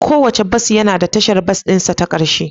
Kowane bas yana da tashar bas ɗin sa ta ƙarshe